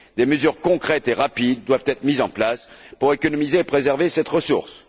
Des mesures concrètes et rapides doivent être mises en place pour économiser et préserver cette ressource.